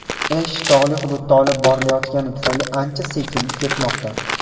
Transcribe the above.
Ish tog‘li hududda olib borilayotgani tufayli ancha sekin ketmoqda.